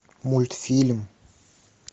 мультфильм